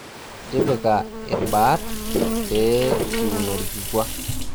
tipika ilbaat pee kiun olkikua